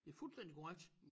Det fuldstændig korrekt